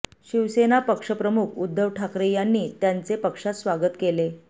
शिवसेना पक्षप्रमुख उद्धव ठाकरे यांनी त्यांचे पक्षात स्वागत केले